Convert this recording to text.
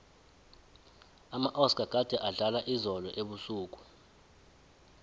amaoscar gade adlala izolo ebusuku